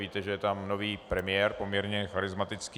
Víte, že je tam nový premiér, poměrně charismatický.